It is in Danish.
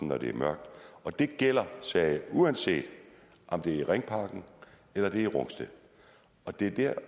når det er mørkt og det gælder sagde jeg uanset om det er i ringparken eller det er i rungsted og det er dér